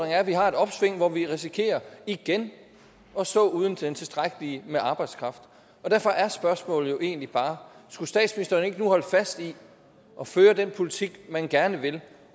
at vi har et opsving hvor vi risikerer igen at stå uden tilstrækkelig arbejdskraft derfor er spørgsmålet jo egentlig bare skulle statsministeren ikke nu holde fast i at føre den politik han gerne vil